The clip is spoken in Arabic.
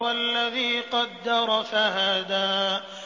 وَالَّذِي قَدَّرَ فَهَدَىٰ